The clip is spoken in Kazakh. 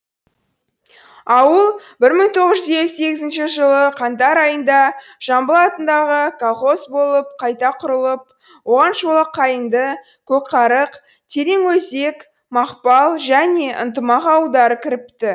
ауыл бір мың тоғыз жуз елу сегізінші жылы қаңтар айында жамбыл атындағы колхоз болып қайта құрылып оған шолаққайыңды көкарық тереңөзек мақпал және ынтымақ ауылдары кіріпті